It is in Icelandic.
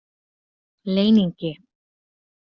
Leyningi